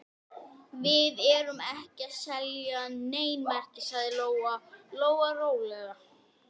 En fyrst dreg ég dýnuna niður af völtum rúmfótunum.